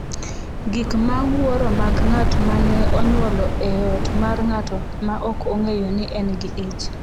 Gik ma wuoro mag ng’at ma ne onyuolo e ot mar ng’ato ma ok ong’eyo ni en gi ich